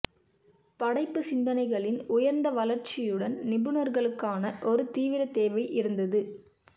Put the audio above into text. படைப்பு சிந்தனைகளின் உயர்ந்த வளர்ச்சியுடன் நிபுணர்களுக்கான ஒரு தீவிர தேவை இருந்தது